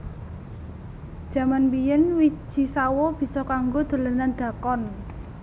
Jaman biyen wiji sawo bisa kanggo dolanan dakon